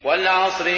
وَالْعَصْرِ